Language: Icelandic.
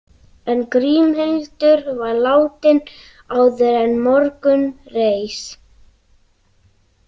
En Grímhildur var látin áður en morgun reis.